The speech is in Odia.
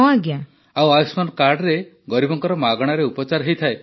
ଆଉ ଆୟୁଷ୍ମାନ କାର୍ଡରେ ଗରିବଙ୍କର ମାଗଣାରେ ଉପଚାର ହୋଇଥାଏ